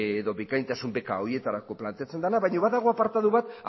edo bikaintasun beka horietarako planteatzen dena baina badago apartatu bat